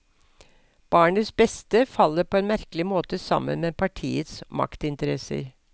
Barnets beste faller på en merkelig måte sammen med partiets maktinteresser.